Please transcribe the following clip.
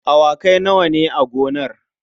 Awakai nawa ne a gonar?